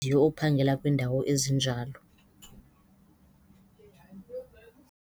ophangela kwiindawo ezinjalo.